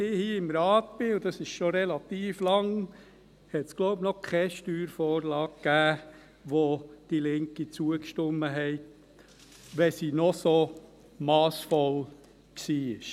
Seit ich hier im Rat bin – und dies ist schon relativ lange –, gab es noch keine Steuervorlage, welcher die Linke zugestimmt hatte, selbst wenn sie noch so massvoll war.